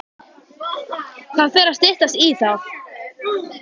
Það fer að styttast í það.